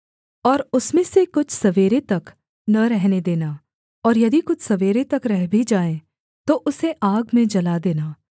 और उसमें से कुछ सवेरे तक न रहने देना और यदि कुछ सवेरे तक रह भी जाए तो उसे आग में जला देना